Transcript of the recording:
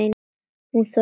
Hún þorði.